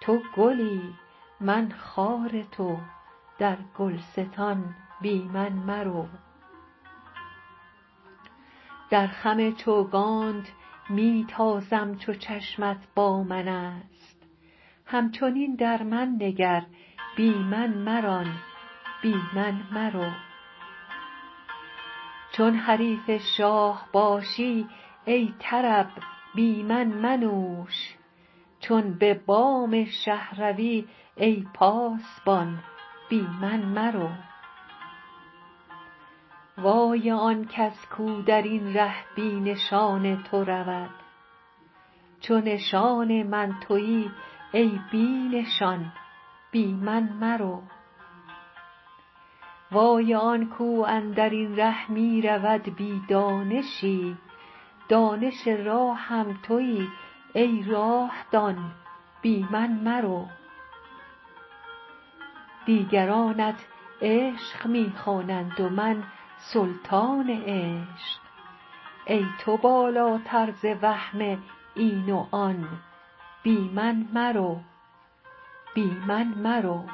تو گلی من خار تو در گلستان بی من مرو در خم چوگانت می تازم چو چشمت با من است همچنین در من نگر بی من مران بی من مرو چون حریف شاه باشی ای طرب بی من منوش چون به بام شه روی ای پاسبان بی من مرو وای آن کس کو در این ره بی نشان تو رود چو نشان من توی ای بی نشان بی من مرو وای آن کو اندر این ره می رود بی دانشی دانش راهم توی ای راه دان بی من مرو دیگرانت عشق می خوانند و من سلطان عشق ای تو بالاتر ز وهم این و آن بی من مرو